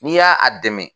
N'i y'a a dɛmɛ